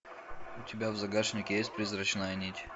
у тебя в загашнике есть призрачная нить